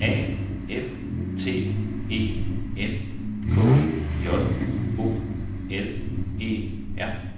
A F T E N K J O L E R